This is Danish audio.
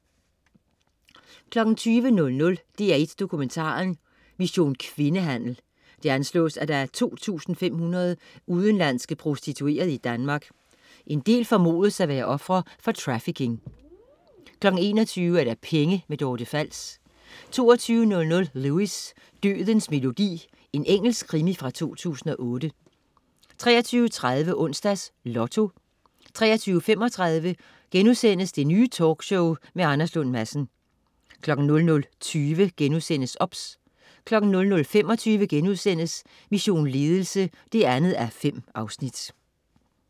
20.00 DR1 Dokumentaren: Mission kvindehandel. Det anslås, at der er 2500 udenlandske prostituerede i Danmark. En del formodes at være ofre for trafficking 21.25 Penge. Dorte Fals 22.00 Lewis: Dødens melodi. Engelsk krimi fra 2008 23.30 Onsdags Lotto 23.35 Det Nye Talkshow med Anders Lund Madsen* 00.20 OBS* 00.25 Mission Ledelse 2:5*